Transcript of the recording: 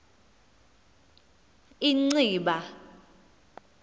inciba